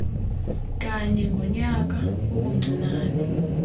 kanye ngonyaka ubuncinane